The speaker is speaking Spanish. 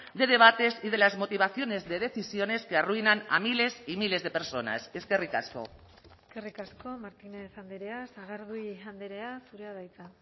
de debates y de las motivaciones de decisiones que arruinan a miles y miles de personas eskerrik asko eskerrik asko martínez andrea sagardui andrea zurea da hitza